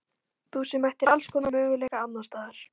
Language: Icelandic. Þú sem ættir allskonar möguleika annars staðar.